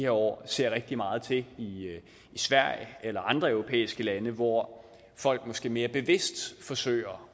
år ser rigtig meget til i sverige eller andre europæiske lande hvor folk måske mere bevidst forsøger